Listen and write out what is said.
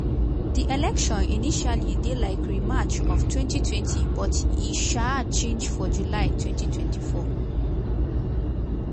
di election initially dey like rematch of 2020 but e um change for july 2024